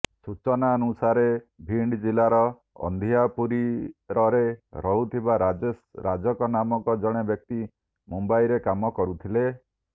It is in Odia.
ସୂଚନାନୁସାରେ ଭୀଣ୍ଡ୍ ଜିଲ୍ଲାର ଅନ୍ଧିଆପୁରୀରରେ ରହୁଥିବା ରାଜେଶ ରାଜାକନାମକ ଜଣେ ବ୍ୟକ୍ତି ମୁମ୍ବାଇରେ କାମ କରୁଥିଲେ